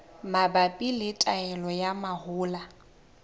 mabapi le taolo ya mahola